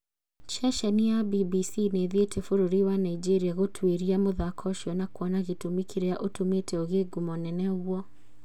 Ceceni ya BBC nĩthiite bũrũri wa Nigeria gũtuĩria mũthako ũcio na kwona gĩtũmi kĩrĩa ũtũmĩte ũgĩe ngumo nene ũguo